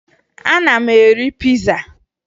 Ana m eri piza